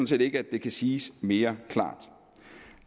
set ikke at det kan siges mere klart